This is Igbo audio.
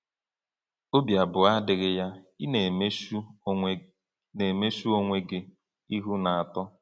Obi abụọ adịghị ya, ị na-emechu onwe na-emechu onwe gị ihu na uto.